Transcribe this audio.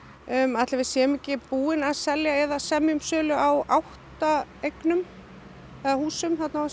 ætli við séum ekki búin að selja eða semja um sölu á átta eignum eða húsum þarna á þessu